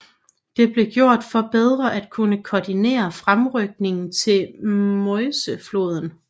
Det blev gjort for bedre at kunne koordinere fremrykningen til Meuse floden